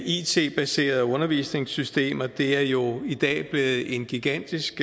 it baserede undervisningssystemer er jo i dag blevet en gigantisk